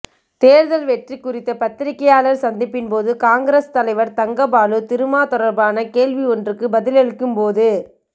தேர்தல் வெற்றி குறித்த பத்திரிகையாளர் சந்திப்பின் போது காங்கிரஸ் தலைவர் தங்கபாலு திருமா தொடர்பான கேள்வி ஒன்றுக்கு பதிலளிக்கும் போது